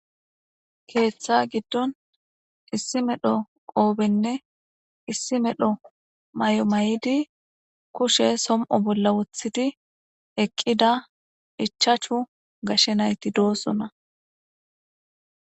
Keeththa giddon issi medho qoobenne issi medho may'o may'idi kushe som'o bolla wothidi eqqida ichachu gashe nayti doossona.